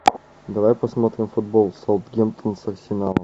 давай посмотрим футбол саутгемптон с арсеналом